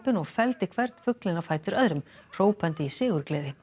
og felldi hvern fuglinn á fætur öðrum hrópandi í sigurgleði